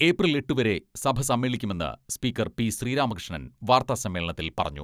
April എട്ടുവരെ സഭ സമ്മേളിക്കുമെന്ന് സ്പീക്കർ പി.ശ്രീരാമകൃഷ്ണൻ വാർത്താ സമ്മേളനത്തിൽ പറഞ്ഞു.